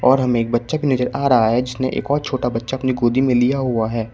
और हमें एक बच्चा की नजर आ रहा है जिसने एक और छोटा बच्चा अपनी गोदी में लिया हुआ है।